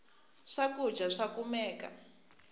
swakudya swa kumeka